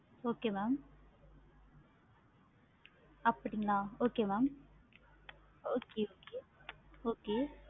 okay mam அப்படிங்களா okay mam okay okay